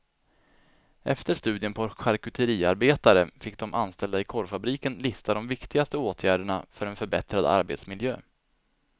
Efter studien på charkuteriarbetare fick de anställda i korvfabriken lista de viktigaste åtgärderna för en förbättrad arbetsmiljö.